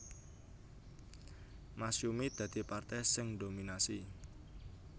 Masyumi dadi partai sing ndominasi